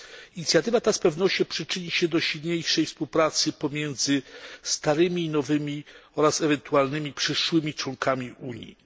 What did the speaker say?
Inicjatywa ta z pewnością przyczyni się do dalszej współpracy pomiędzy starymi a nowymi oraz ewentualnymi przyszłymi członkami Unii.